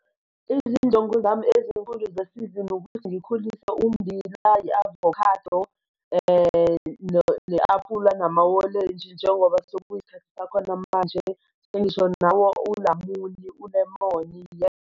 Izinjongo zami ezinkulu zesizini ukuthi ngikhulise umbila i-avocado ne-aphula namawolenji njengoba sekuyisikhathi sakhona manje sengisho nawo ulamuli, ulemoni.